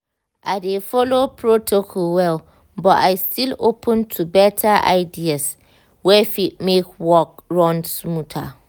i dey follow protocol well but i still open to better ideas wey fit make work run smoother.